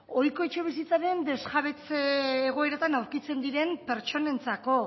ohiko etxebizitzaren desjabetze egoeretan aurkitzen diren pertsonentzako